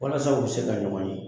Walasa u bɛ se ka ɲɔgɔn ye